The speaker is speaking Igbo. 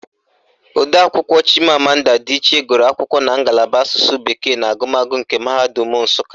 Odeakwụkwọ Chimamanda Adichie gụrụ akwụkwọ na ngalaba Asụsụ bekee na agụmagụ nke Mahadum Nsụka